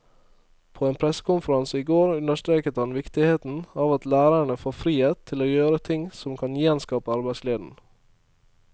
På en pressekonferanse i går understreket han viktigheten av at lærerne får frihet til å gjøre ting som kan gjenskape arbeidsgleden.